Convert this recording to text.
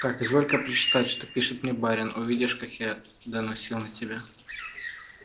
так изволь-ка прочитать что пишет ко мне барин увидишь как я доносил на тебя